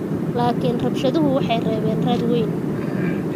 Laakiin rabshaduhu waxay reebeen raad weyn.